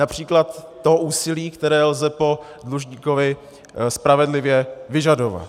Například to úsilí, které lze po dlužníkovi spravedlivě vyžadovat.